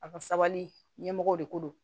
A ka sabali ɲɛmɔgɔw de ko don